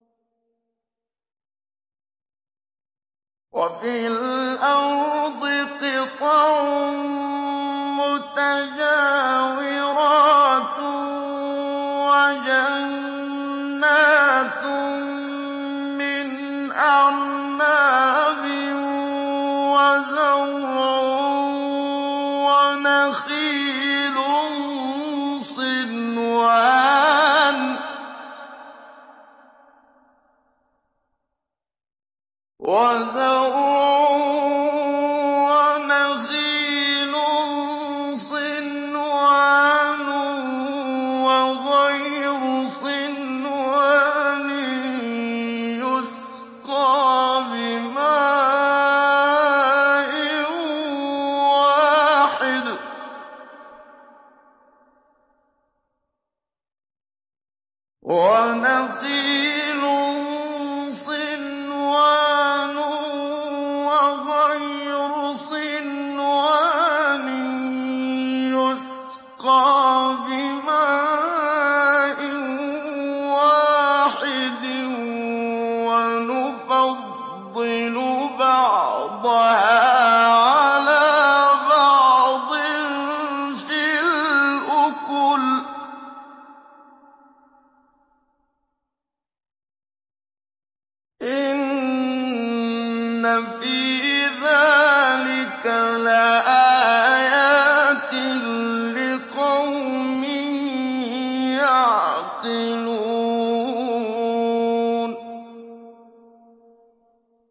وَفِي الْأَرْضِ قِطَعٌ مُّتَجَاوِرَاتٌ وَجَنَّاتٌ مِّنْ أَعْنَابٍ وَزَرْعٌ وَنَخِيلٌ صِنْوَانٌ وَغَيْرُ صِنْوَانٍ يُسْقَىٰ بِمَاءٍ وَاحِدٍ وَنُفَضِّلُ بَعْضَهَا عَلَىٰ بَعْضٍ فِي الْأُكُلِ ۚ إِنَّ فِي ذَٰلِكَ لَآيَاتٍ لِّقَوْمٍ يَعْقِلُونَ